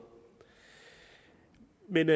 men